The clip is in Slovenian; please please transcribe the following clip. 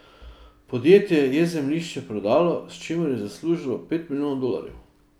Podjetje je zemljišče prodalo, s čimer je zaslužilo pet milijonov dolarjev.